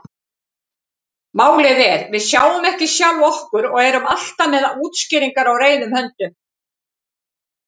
Málið er: Við sjáum ekki sjálf okkur og erum alltaf með útskýringar á reiðum höndum.